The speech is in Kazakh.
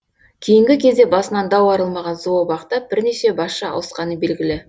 кейінгі кезде басынан дау арылмаған зообақта бірнеше басшы ауысқаны белгілі